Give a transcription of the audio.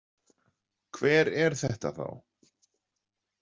Hver er þetta þá?